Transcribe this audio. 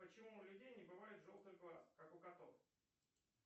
почему у людей не бывает желтых глаз как у котов